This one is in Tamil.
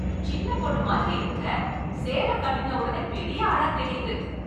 சின்ன பொண்ணு மாதிரி இருந்த, சேல கட்டின உடனே பெரிய ஆளாத் தெரியுது.